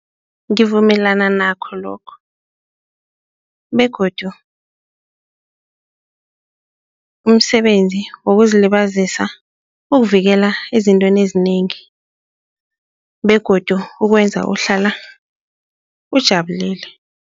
Ngivumelana nakho lokho begodu umsebenzi wokuzilibazisa ukuvikela ezintweni ezinengi begodu ukwenza uhlala ujabulile.